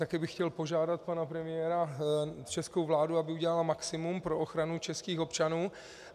Taky bych chtěl požádat pana premiéra, českou vládu, aby udělala maximum pro ochranu českých občanů.